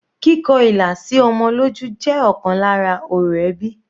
Kíkọ ilà sí ọmọ lójú jẹ́ ọ̀kan lára orò ẹbí.